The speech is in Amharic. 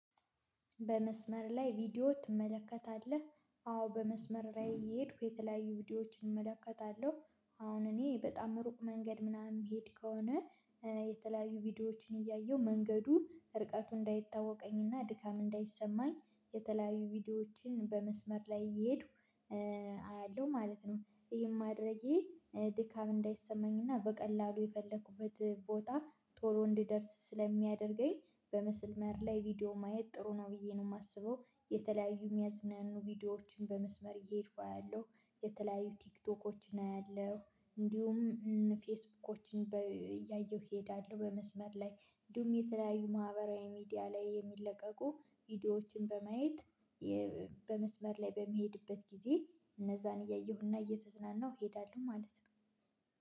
በመስመር ላይ ቪዲዮ ትመለከታለህ? አዎ በመስመር ላይ እየሄድኩ የተለያዩ ቪዲዮዎችን እመለከታለሁ አሁን እኔ በጣም ሩቅ መንገድ ምናምን የምሄድ ከሆነ የተለያዩ ቪዲዮዎችን እያየሁ መንገዱ ርቀቱ እንዳይታወቀኝና ድካም እንዳይሰማኝ የተለያዩ ቪዲዮዎችን በመስመር ላይ እየሄዱ አያለሁ ማለት ነው ይሄን ማድረጌ ድካም እንዳይሰማኝና በቀላሉ የፈለኩበት ቦታ ቶሎ እንድደርስ ስለሚያደርግ በምስመር ላይ ቪዲዮ ማየት ጥሩ ነው ብዬ ነው የማስበው የተለያዩ የሚያዝናኑ ቪዲዮዎችን በመስመር እየሄድኩ አያለሁ የተለያዩ ቲክቶኮችን አያለሁ እንዲሁም ፌስቡኮችን እያየሁ እሄዳለሁ በመስመር ላይ እንዲሁም የተለያዩ ማህበራዊ ሚዲያ ላይ የሚለቀቁ ቪዲዮዎችን በማየት በመስመር ላይ በምሄድበት ጊዜ እነዛን እያየሁና እየተዝናናሁ እሄዳለሁ ማለት ነው